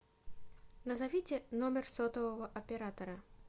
назовите номер сотового оператора